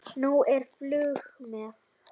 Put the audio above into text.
Nú er flug með